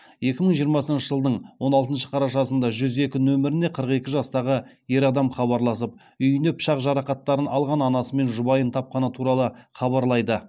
екі мың жиырмасыншы жылдың он алтыншы қарашасында жүз екі нөміріне қырық екі жастағы ер адам хабарласып үйінен пышақ жарақаттарын алған анасы мен жұбайын тапқаны туралы хабарлайды